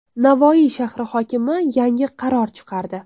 Navoiy shahri hokimi yangi qaror chiqardi.